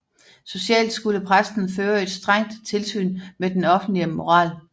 Socialt skulle præsten føre et strengt tilsyn med den offentlige moral